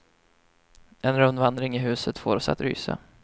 En rundvandring i huset får oss att rysa.